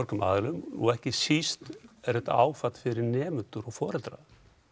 aðilum og ekki síst er þetta áfall fyrir nemendur og foreldra